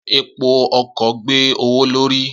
Epo ọkọ̀ gbé owó l'órí